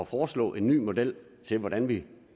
foreslå en ny model til hvordan vi